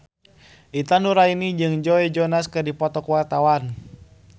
Intan Nuraini jeung Joe Jonas keur dipoto ku wartawan